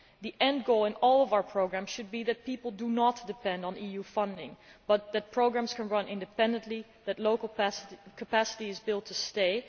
The end goal in all of our programmes should be that people do not depend on EU funding but that programmes can run independently, that local capacity is built to stay.